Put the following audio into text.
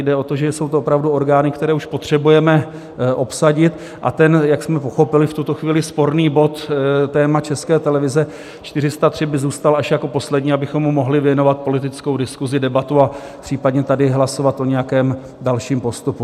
Jde o to, že jsou to opravdu orgány, které už potřebujeme obsadit, a ten - jak jsme pochopili - v tuto chvíli sporný bod, téma České televize - 403, by zůstal až jako poslední, abychom mu mohli věnovat politickou diskuzi, debatu a případně tady hlasovat o nějakém dalším postupu.